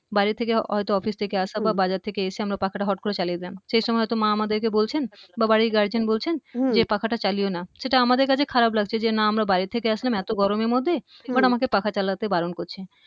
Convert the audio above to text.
বাইরের থেকে হয়ত অফিস থেকে আসা বা বাজার থেকে এসে আমরা পাখাটা হট করে চালিয়ে দিলাম সেই সময় হয়ত মা আমাদেরকে বলছেন বা বাড়ির গার্জিয়ান বলছেন যে পাখাটা চালিও না সেটা আমাদের কাছে খারাপ লাগছে যে না আমরা বাইরের থেকে আসলাম এতো গরমের মধ্যে but আমাকে পাখা চালাতে বারণ করছে